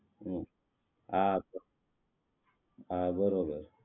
હમ હા હા બરોબર